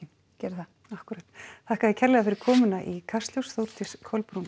geri það akkúrat þakka þér kærlega fyrir komuna í Kastljós Þórdís Kolbrún